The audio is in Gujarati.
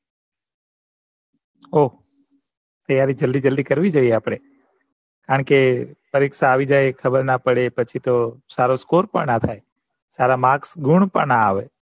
ઓહ તૈયારી જલ્દી જલ્દી કરવી જોઈએ આપડે કારણ કે પરીક્ષા આવી જાય ખબર ના પડે પછી તો સારો Score પણ ના થાય સારા Marks ગુણ પણ ના આવે